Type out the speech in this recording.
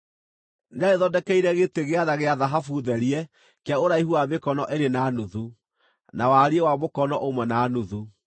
Nĩarĩthondekeire gĩtĩ gĩa tha gĩa thahabu, therie kĩa ũraihu wa mĩkono ĩrĩ na nuthu, na wariĩ wa mũkono ũmwe na nuthu.